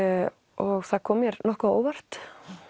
og það kom mér nokkuð á óvart